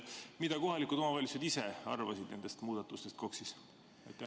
" Mida kohalikud omavalitsused ise arvasid nendest muudatustest KOKS-is?